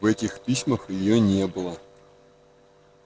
в этих письмах её не было